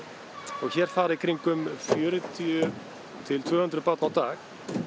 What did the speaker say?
og hér fara í kringum fjörutíu til tvö hundruð börn á dag